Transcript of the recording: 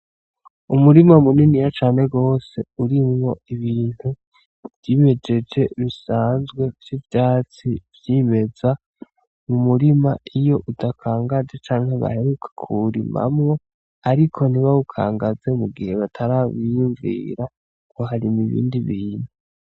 Umurima muniniya cane gose urimwo ibintu vyimejeje bisanzwe vy'ivyatsi vyimeza mumurima iyo udakangaje canke bahereuka kuwurimamwo ariko ntibawukangaze igihe batarawiyumvira kuharima ibindi bintu.